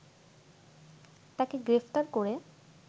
তাকে গ্রেপ্তার করে